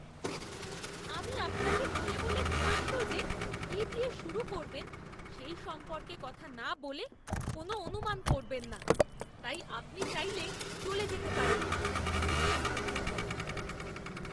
আমি আপনাকে বলে বলে ক্লান্ত যে কী দিয়ে শুরু করবেন সেই সম্পর্কে কথা না বলে কোন অনুমান করবেন না, তাই আপনি চাইলে চলে যেতে পারেন! ফিটনেস প্রশিক্ষক